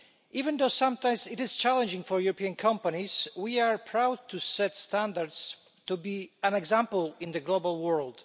Even though sometimes it is challenging for European companies, we are proud to set standards and to be an example in the global world.